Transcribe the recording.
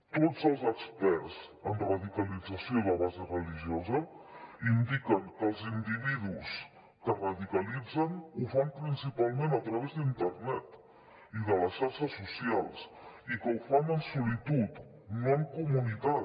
tots els experts en radicalització de base religiosa indiquen que els individus que es radicalitzen ho fan principalment a través d’internet i de les xarxes socials i que ho fan en solitud no en comunitat